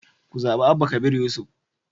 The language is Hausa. Ku zaɓi Abba Kabir Yusuf